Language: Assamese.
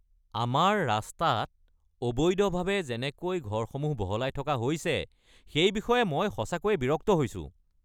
আমাৰ ৰাস্তাত অবৈধভাৱে যেনেকৈ ঘৰসমূহ বহলাই থকা হৈছে সেই বিষয়ে মই সঁচাকৈয়ে বিৰক্ত হৈছো।